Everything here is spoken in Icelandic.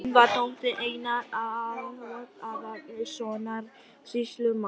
Hún var dóttir Einars Aðalgeirssonar sýslumanns.